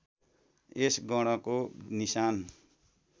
यस गणको निशान